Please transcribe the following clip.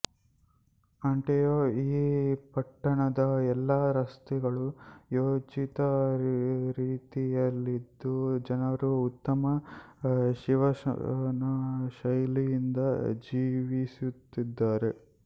ಅಂತೆಯೇ ಈ ಪಟ್ಟಣದ ಎಲ್ಲ ರಸ್ತೆಗಳೂ ಯೋಜಿತ ರೀತಿಯಲ್ಲಿದ್ದು ಜನರೂ ಉತ್ತಮ ಜೀವನಶೈಲಿಯಿಂದ ಜೀವಿಸುತ್ತಿದ್ದಾರೆ